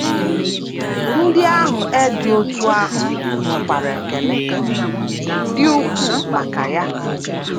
Ndị ahụ e dị otú ahụ nwekwara ekele dị ukwuu maka ya.